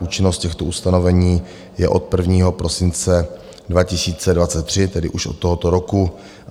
Účinnost těchto ustanovení je od 1. prosince 2023, tedy už od tohoto roku.